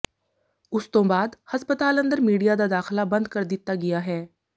ਉਸ ਤੋਂ ਬਾਅਦ ਹਸਪਤਾਲ ਅੰਦਰ ਮੀਡੀਆ ਦਾ ਦਾਖਲਾ ਬੰਦ ਕਰ ਦਿੱਤਾ ਗਿਆ ਹੈ